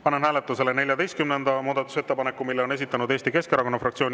Panen hääletusele 14. muudatusettepaneku, mille on esitanud Eesti Keskerakonna fraktsioon.